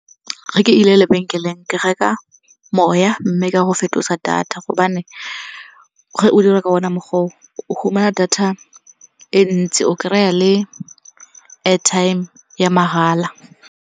Ga ke ile lebenkeleng, ke reka moya mme ka go fetosa data gobane ge o dira ka ona mokgwa o o fumana data e ntsi, o kry-a le airtime ya mahala.